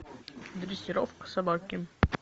дрессировка собаки